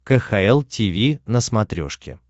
кхл тиви на смотрешке